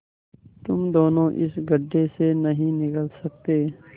तुम दोनों इस गढ्ढे से नहीं निकल सकते